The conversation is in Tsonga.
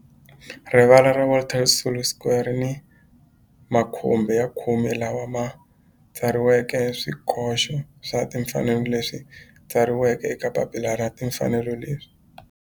Rivala ra Walter Sisulu Square ri ni makhumbi ya khume lawa ma tsariweke swikoxo swa timfanelo leswi tsariweke eka papila ra timfanelo leswi